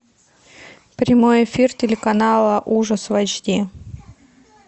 прямой эфир телеканала ужас в эйч ди